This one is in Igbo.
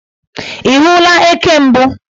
Ị hụla eke mbụ?